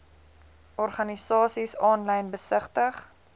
organisasies aanlyn besigtig